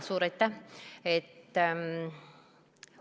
Suur aitäh!